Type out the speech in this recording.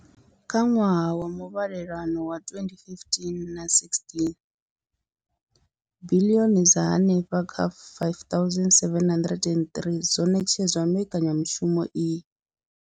Kha ṅwaha wa muvhalelano wa 2015-16, biḽioni dza henefha kha R5 703 dzo ṋetshedzwa mbekanyamushumo iyi.